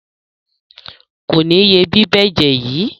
Kò ní ye bíbẹ́jẹ̀ yìí.